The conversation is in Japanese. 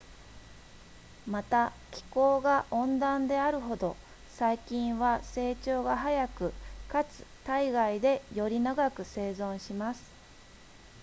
また気候が温暖であるほど細菌は成長が速くかつ体外でより長く生存します